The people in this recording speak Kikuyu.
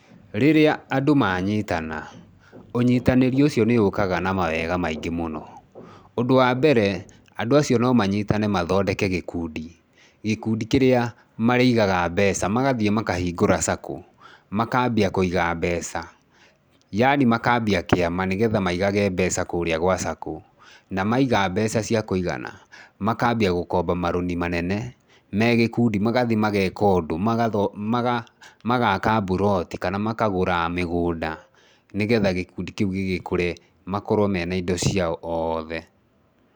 Rĩrĩa andũ manyitana, ũnyitanĩri ũcio nĩ ũkaga na mawega maingĩ mũno. Ũndũ wa mbere, andũ acio no manyitane mathondeke gĩkundi, gĩkundi kĩrĩa marĩigaga mbeca. Magathiĩ makahingũra SACCO, makaambia kũiga mbeca yani makaambia kĩama nĩgetha maigage mbeca kũrĩa gwa SACCO. Na maiga mbeca cia kũigana, makaambia gũkomba marũni manene megĩkundi. Magathiĩ mageeka ũndũ, magaaka mburoti kana makagũra mĩgũnda nĩgetha gĩkundi kĩu gĩgĩkũre makorwo mena indo ciao othe.